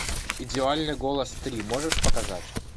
идеальный голос три можешь показать